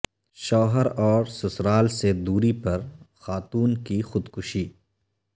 شوہر اور سسرال سے دوری پر خاتون کی خودکشی